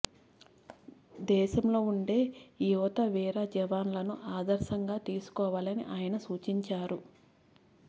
దేశంలో ఉండే యువత వీర జవాన్లను ఆదర్శంగా తీసుకోవాలని ఆయన సూచించారు